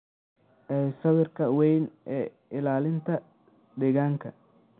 ee sawirka weyn ee ilaalinta deegaanka.